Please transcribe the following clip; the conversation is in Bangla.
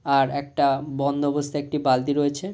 আর একটা বন্ধ অবস্থায় একটি বালতি রয়েছে ।